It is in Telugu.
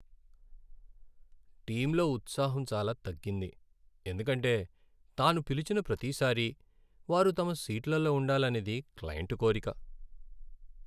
టీంలో ఉత్సాహం చాలా తగ్గింది, ఎందుకంటే తాను పిలిచిన ప్రతిసారీ వారు తమ సీట్లలో ఉండాలనేది క్లయింటు కోరిక.